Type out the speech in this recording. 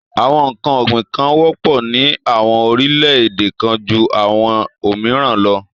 Àwọn n̄ǹkan ọ̀gbìn kan wọ́pọ̀ ní àwọn orílẹ̀-èdè kan ju àwọn òmìrán lọ.